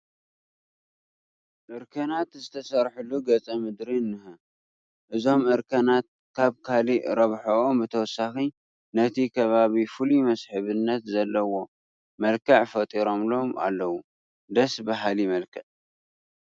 እርከናት ዝተሰርሐሉ ገፀ ምድሪ እኒሀ፡፡ እዞም እርከናት ካብ ካልእ ረብሕኦም ብተወሳኺ ነቲ ከባቢ ፍሉይ መስሕብነት ዘለዎ መልክዕ ፈጢሮሙሉ ኣለዉ፡፡ ደስ በሃሊ መልክዕ፡፡